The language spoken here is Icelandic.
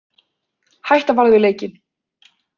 Hætta varð við leikinn